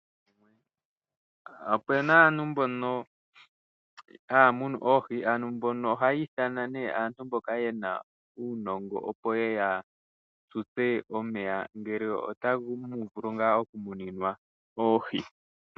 Opuna aantu mbono haya munu oohi, aantu mbono ohayi ithana nee aantu mbono ye na uunongo, opo yeye ya tutwe omeya ngele otamu vulu ngaa okumonenwa oohi.